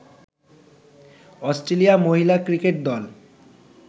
Australia মহিলা cricket দল